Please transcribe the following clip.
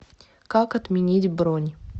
как отменить бронь